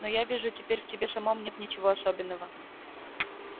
но я вижу теперь в тебе самом нет ничего особенного